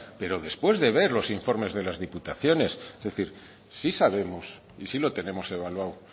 pero después de ver los informes de las diputaciones es decir sí sabemos y sí lo tenemos evaluado